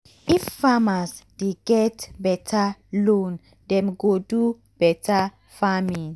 if um farmers dey get um beta loan dem go do beta farming.